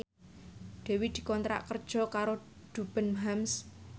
Dewi dikontrak kerja karo Debenhams